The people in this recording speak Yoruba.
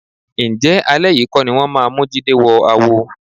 Ǹjẹ́ alẹ́ yìí kọ́ ni wọ́n máa mú Jídé wọ àwo?